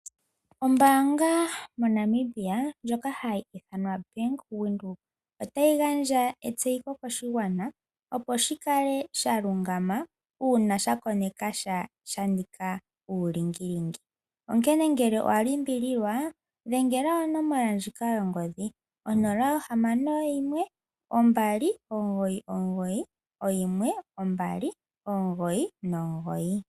Ombaanga moNamibia ndjoka hayi ithanwa Bank Windhoek otayi gandja etseyitho koshigwana, opo shi kale sha lungama uuna sha koneka sha sha nika uulingilingi. Onkene ngele owa limbililwa dhengela onomola ndjika yongodhi 061 2991200.